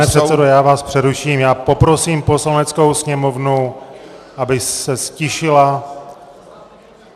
Pane předsedo, já vám přeruším a poprosím Poslaneckou sněmovnu, aby se ztišila!